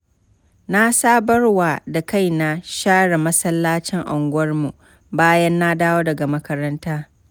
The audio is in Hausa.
Na sabarwa da kaina share masallacin unguwarmu bayan na dawo daga makaranta.